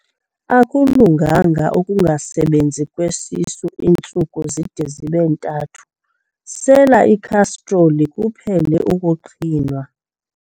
Akulunganga ukungasebenzi kwesisu iintsuku zide zibe ntathu, sela ikhastroli kuphele ukuqhinwa.